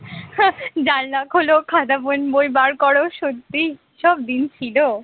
জানালা খোল, খাতা, pen বই বার কর সত্যি সব দিন ছিল